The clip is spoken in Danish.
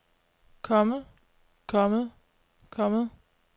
kommet kommet kommet